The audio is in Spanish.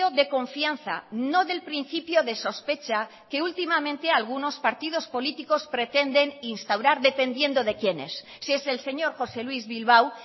de confianza no del principio de sospecha que últimamente algunos partidos políticos pretenden instaurar dependiendo de quién es si es el señor josé luis bilbao